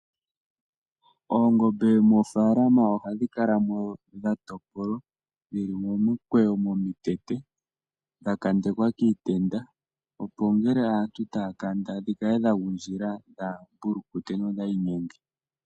Oongombe moofaalama ohadhi kala mo dha topolwa dhili momikwewo momitete, dha kandekwa kiitenda opo ngele aantu taya kanda dhikale dha gundjila, dhaa pulukute nodhaa inyenge.